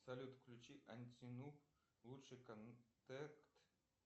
салют включи антинуб лучший контект